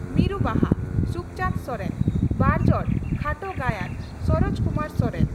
ᱢᱤᱨᱩ ᱵᱟᱦᱟ (ᱥᱩᱠᱪᱟᱸᱱᱫᱽ ᱥᱚᱨᱮᱱ)ᱵᱟᱨᱡᱚᱲ ᱠᱷᱟᱴᱚ ᱜᱟᱭᱟᱱ (ᱥᱚᱨᱚᱡ ᱠᱩᱢᱟᱨ ᱥᱚᱨᱮᱱ)